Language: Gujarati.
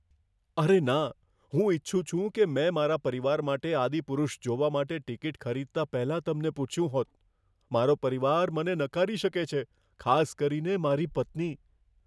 અરે ના! હું ઈચ્છું છું કે મેં મારા પરિવાર માટે "આદિપુરુષ" જોવા માટે ટિકિટ ખરીદતા પહેલાં તમને પૂછ્યું હોત. મારો પરિવાર મને નકારી શકે છે, ખાસ કરીને મારી પત્ની.